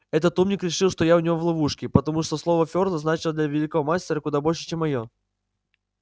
этот умник решил что я у него в ловушке потому что слово ферла значило для великого мастера куда больше чем моё